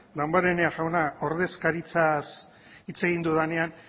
damborenea jauna ordezkaritzaz hitz egin dudanean